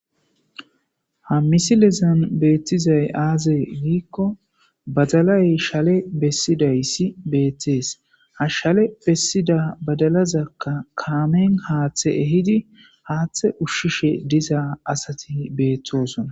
Ha misilezon beettizay aaze giikko badalay shale bessidayssi beeththees ha shale bessida badalazakka kaamen haaththe ehidi haaththe ushshishe diza asati beeththosona.